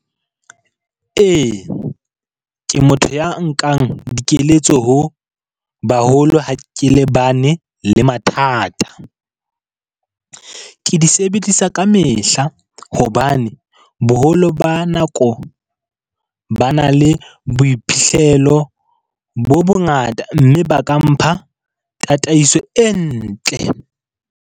Ee, ke motho ya nkang dikeletso ho baholo ha ke lebane le mathata. Ke di sebedisa ka mehla hla hobane boholo ba nako ba na le boiphihlelo bo bongata. Mme ba ka mpha tataiso e ntle.